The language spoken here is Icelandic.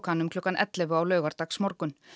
hann um klukkan ellefu á laugardagsmorgun